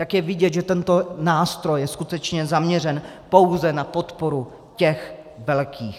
Tak je vidět, že tento nástroj je skutečně zaměřen pouze na podporu těch velkých.